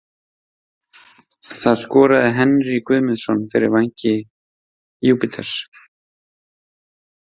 Það skoraði Henrý Guðmundsson fyrir Vængi Júpiters.